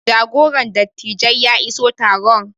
jagoran dattijai ya iso taron